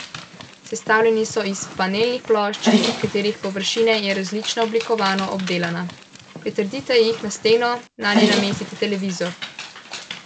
Sestavljeni so iz panelnih plošč, katerih površina je različno oblikovno obdelana, pritrdite jih na steno, nanje pa namestite televizor.